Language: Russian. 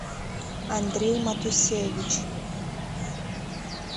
андрей матусевич